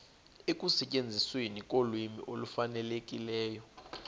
ekusetyenzisweni kolwimi olufanelekileyo